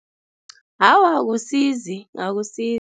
Awa, akusizi, akusizi.